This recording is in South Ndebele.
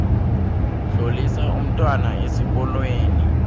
tlolisa umntwana esikolweni